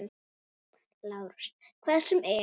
LÁRUS: Hvað sem er.